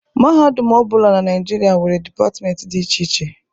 Mahadum ọ bụla na Naịjirịa nwere dịpatmentị dị iche iche.